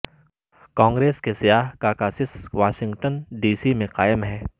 کانگریس کے سیاہ caucus Washington D C میں قائم ہے